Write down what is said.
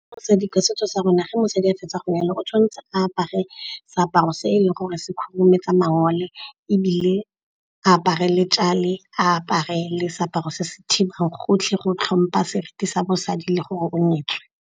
Mosadi ka setso sa rona ga mosadi a fetsa go nyalwa, go tshwanetse a apare seaparo se eleng gore se khurumetsa mangole ebile apare le , a apare le seaparo se se thibang gotlhe go tlhompha seriti sa bosadi le gore o nyetswe.